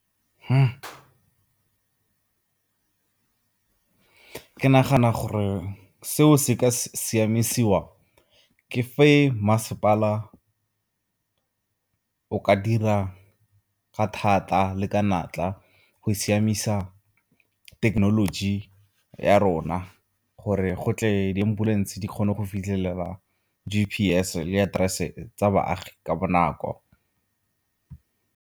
Ke nagana gore seo se ka siamisiwa ke fa masepala o ka dira thata le ka natla go siamisa thekenoloji ya rona gore go tle di-ambulance di kgone go fitlhelela G_P_S le aterese tsa baagi ka bonako.